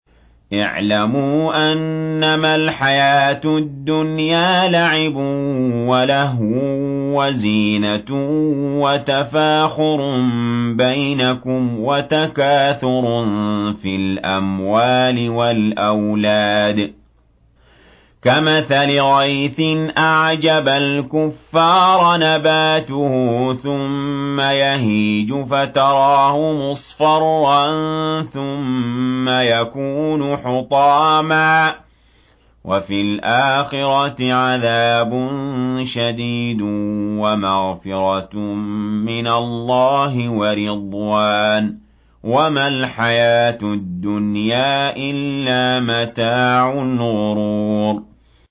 اعْلَمُوا أَنَّمَا الْحَيَاةُ الدُّنْيَا لَعِبٌ وَلَهْوٌ وَزِينَةٌ وَتَفَاخُرٌ بَيْنَكُمْ وَتَكَاثُرٌ فِي الْأَمْوَالِ وَالْأَوْلَادِ ۖ كَمَثَلِ غَيْثٍ أَعْجَبَ الْكُفَّارَ نَبَاتُهُ ثُمَّ يَهِيجُ فَتَرَاهُ مُصْفَرًّا ثُمَّ يَكُونُ حُطَامًا ۖ وَفِي الْآخِرَةِ عَذَابٌ شَدِيدٌ وَمَغْفِرَةٌ مِّنَ اللَّهِ وَرِضْوَانٌ ۚ وَمَا الْحَيَاةُ الدُّنْيَا إِلَّا مَتَاعُ الْغُرُورِ